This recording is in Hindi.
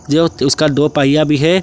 जो उसका दो पहिया भी है।